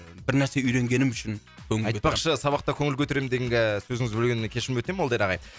бір нәрсе үйренгенім үшін айтпақшы сабақта көңіл көтеремін дегенге ііі сөзіңізді бөлгеніме кешірім өтінемін молдияр ағай